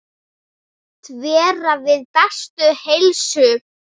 Segist vera við bestu heilsu.